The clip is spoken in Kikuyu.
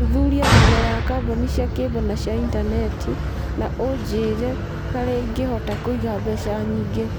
Thuthuria thogora wa kambuni cia cable na cia intaneti na ũnjĩrie harĩa ingĩhota kũiga mbeca nyingĩ